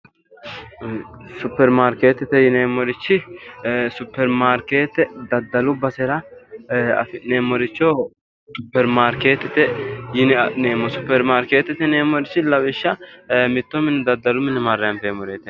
Supermarketete yineemmorichi ee daddalu basera ee afi'neemmoricho supermarketete yine adhineemmo supermarketete yineemmorichi lawishsha ee mitto mine daddalu mine marre anfeemmoreeri.